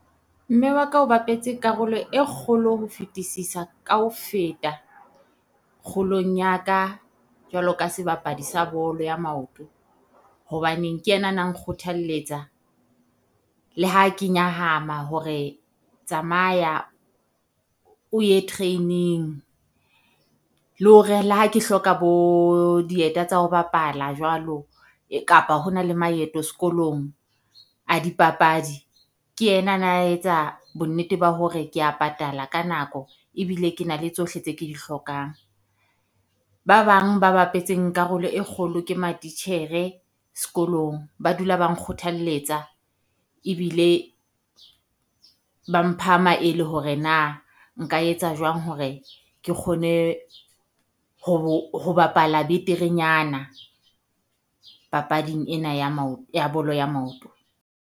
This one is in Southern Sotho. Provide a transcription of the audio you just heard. Mme wa ka o bapetse karolo e kgolo ho fetisisa ka ho feta kgolong ya ka, jwalo ka sebapadi sa bolo ya maoto, hobaneng ke ena na nkgothalletsa le ha ke nyahama hore tsamaya o ye training. Le hore le ha ke hloka bo dieta tsa ho bapala jwalo, kapa ho na le maeto sekolong a dipapadi, ke ena na etsa bonnete ba hore kea patala ka nako ebile ke na le tsohle tse ke di hlokang. Ba bang ba bapetseng karolo e kgolo ke matitjhere sekolong, ba dula ba nkgothaletsa ebile ba mpha maele hore na nka etsa jwang hore ke kgone ho ho bapala beterenyana papading ena ya ya bolo ya maoto.